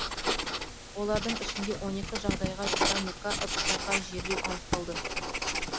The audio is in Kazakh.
олардың ішінде он екі жағдайда керамика ыдыстарға жерлеу анықталды